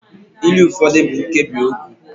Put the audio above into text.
ilu ụfọdụ bụ nkebiokwu